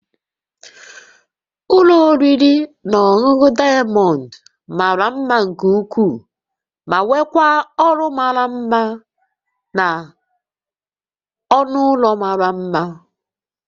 Ụlọ oriri na ọṅụṅụ Diamond mara mma nke ukwuu ma nwekwaa ọrụ mara mma na ọnụ ụlọ mara mma